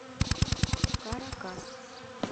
каракас